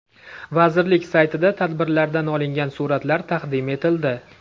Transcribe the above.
Vazirlik saytida tadbirdan olingan suratlar taqdim etildi.